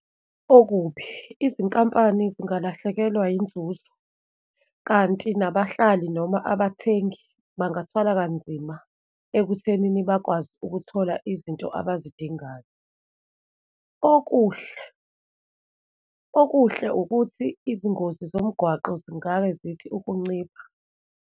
Okubi, izinkampani singalahlekelwa yinzuzo, kanti nabahlali noma abathengi bangathwala kanzima ekuthenini bakwazi ukuthola izinto abazidingayo. Okuhle, okuhle ukuthi izingozi zomgwaqo zingabe zithi ukuncipha.